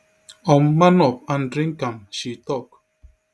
um man up and drink am she tok